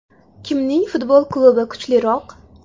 Kimning futbol klubi kuchliroq?.